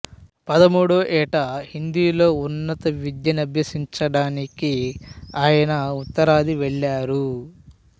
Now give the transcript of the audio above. పదమూడో ఏట హిందీలో ఉన్నత విద్యనభ్యసించడానికి ఆయన ఉత్తరాది వెళ్లారు